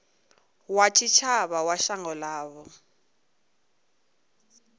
wa tshitshavha wa shango ḽavho